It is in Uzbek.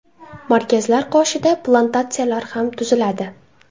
Markazlar qoshida plantatsiyalar ham tuziladi.